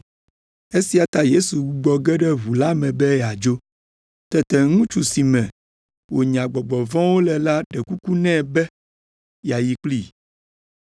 Esia ta Yesu gbugbɔ ge ɖe ʋu la me be yeadzo. Tete ŋutsu si me wònya gbɔgbɔ vɔ̃wo le la ɖe kuku nɛ be yeayi kplii,